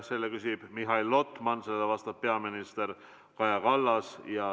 Selle küsib Mihhail Lotman, vastab peaminister Kaja Kallas.